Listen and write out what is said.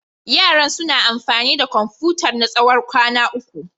Yaran suna amfani da Komfutar na tsawon kwana uku.